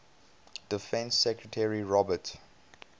defense secretary robert